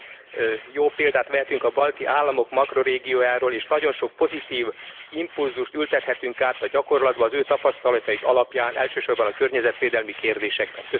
Nagyon jó példát vehetünk a balti államok makrórégiójáról és nagyon sok pozitív impulzust ültethetünk át a gyakorlatba az ő tapasztalataik alapján, elsősorban a környezetvédelmi kérdésekben.